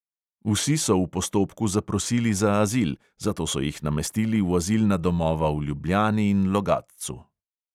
Vsi so v postopku zaprosili za azil, zato so jih namestili v azilna domova v ljubljani in logatcu.